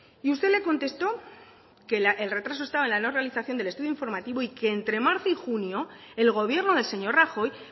y usted le contestó que el retraso estaba en la no realización del estudio informativo y que entre marzo y junio el gobierno del señor rajoy